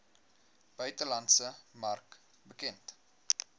buitelandse mark bekend